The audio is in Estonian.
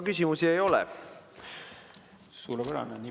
Küsimusi ei ole.